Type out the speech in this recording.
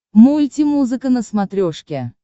мультимузыка на смотрешке